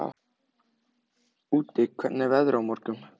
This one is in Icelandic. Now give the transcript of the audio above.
Úddi, hvernig er veðrið á morgun?